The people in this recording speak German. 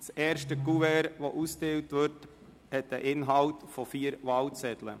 Das erste Kuvert, das ausgeteilt wird, beinhaltet vier Wahlzettel.